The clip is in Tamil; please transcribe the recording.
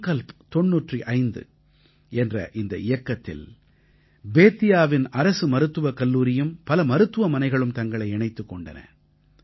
சங்கல்ப் தொண்ணூற்று ஐந்து என்ற இந்த இயக்கத்தில் பேத்தியாவின் அரசு மருத்துவக் கல்லூரியும் பல மருத்துவமனைகளும் தங்களை இணைத்துக் கொண்டன